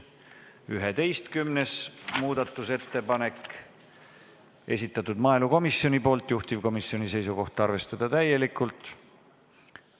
11. muudatusettepanek, esitanud maaelukomisjon, juhtivkomisjoni seisukoht: arvestada täielikult.